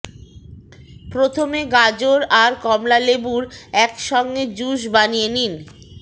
প্রথমে গাজর আর কমলালেবুর এক সঙ্গে জ্যুস বানিয়ে নিন